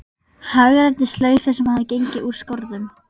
Hagræddi slaufu sem hafði gengið úr skorðum.